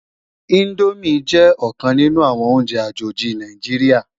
Indómi jè okan ninù áwòn óùnjè ájóji Náijiriá